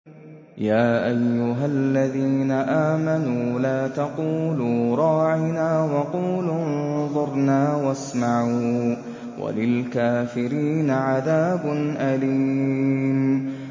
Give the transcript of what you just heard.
يَا أَيُّهَا الَّذِينَ آمَنُوا لَا تَقُولُوا رَاعِنَا وَقُولُوا انظُرْنَا وَاسْمَعُوا ۗ وَلِلْكَافِرِينَ عَذَابٌ أَلِيمٌ